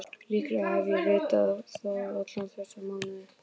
Líklega hef ég vitað það alla þessa mánuði.